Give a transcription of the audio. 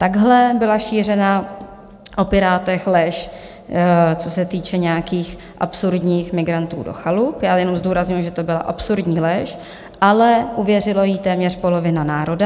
Takhle byla šířena o Pirátech lež, co se týče nějakých absurdních migrantů do chalup - já jenom zdůrazňuji, že to byla absurdní lež, ale uvěřila jí téměř polovina národa.